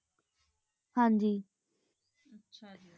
ਆਚਾ ਜੀ